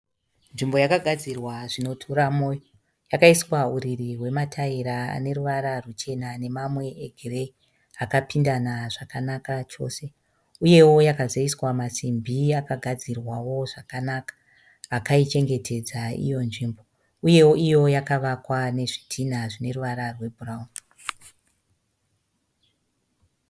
Nzvimbo yagadzirwa zvinotora moyo. Yakaiswa huriri hwemataira aneruvara ruchena nemamwe egireyi akapindana zvakanaka chose. Uyewo yakazoisa masimbi akagadzirwawo zvakanaka akaichengetedza iyo nzvimbo. Uye iyowo yakavakwa nezvidhina zvineruvara rwe bhurauni.